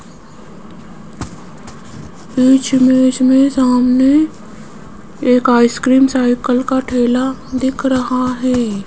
इस इमेज में सामने एक आइसक्रीम साइकिल का ठेला दिख रहा है।